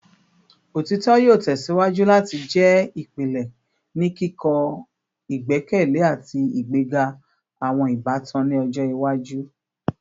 Otitọ yoo tẹsiwaju lati jẹ ipilẹ ni kikọ igbẹkẹle ati igbega awọn ibatan ni ọjọ iwaju